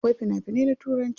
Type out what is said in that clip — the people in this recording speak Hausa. Akwai fina finai na turanci.